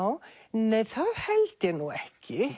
nei það held ég ekki